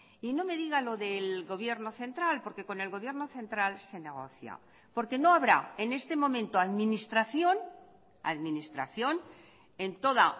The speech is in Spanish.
y no me diga lo del gobierno central porque con el gobierno central se negocia porque no habrá en este momento administración administración en toda